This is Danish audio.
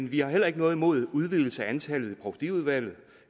vi har heller ikke noget imod en udvidelse af antallet i provstiudvalget